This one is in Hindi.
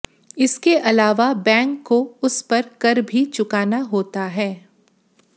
इसके अलावा बैंक को उस पर कर भी चुकाना होता है